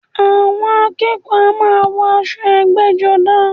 Àwọn akẹ́kọ̀ọ́ a máa wọ aṣọ ẹgbẹ́-jọdá.